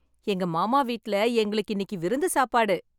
எங்க மாமா வீட்ல எங்களுக்கு இன்னைக்கு விருந்து சாப்பாடு.